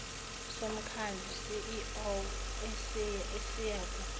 somkhandlu ceo esiyakuba